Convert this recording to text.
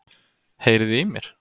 Heyriði í mér?